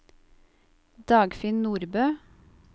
Dagfinn Nordbø